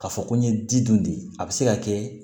Ka fɔ ko n ye di dun de a bɛ se ka kɛ